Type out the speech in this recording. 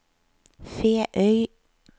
Feøy